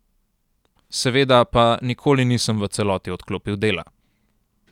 Seveda pa nikoli nisem v celoti odklopil dela.